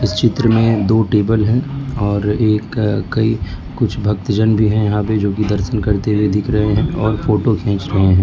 चित्र में दो टेबल हैं और एक कई कुछ भक्तजन भी हैं यहां पे जो कि दर्शन करते हुए दिख रहे हैं और फोटो खींच रहे हैं।